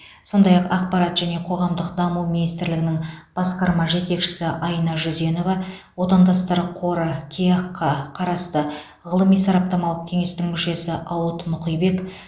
сондай ақ ақпарат және қоғамдық даму министрлігінің басқарма жетекшісі айна жүзенова отандастар қоры кеақ ға қарасты ғылыми сараптамалық кеңестің мүшесі ауыт мұқибек